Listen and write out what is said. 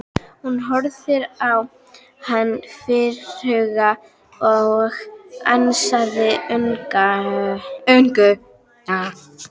Hún horfði á hann fjarhuga og ansaði engu.